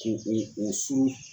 Ko o o surun